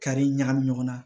Kari ɲagami ɲɔgɔn na